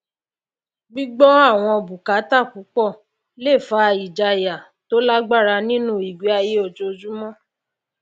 gbígbọ àwọn bùkátà púpọ le fa ìjayà tó lágbára nínú ìgbéayé ojoojúmọ